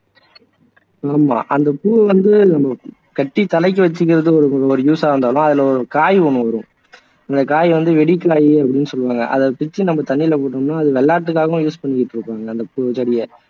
ஆமா அந்த பூ வந்து கட்டி தலைக்கு வச்சுக்குறது ஒரு use ஆ இருந்தாலும் அதுல ஒரு காய் ஒண்ணு வரும் அந்த காய் வந்து வெடி காயி அதை பிச்சு தண்ணியில போட்டோம்னா அதை விளையாட்டுக்ககவும் use பண்ணிட்டு இருக்கோம் அந்த பூ செடியை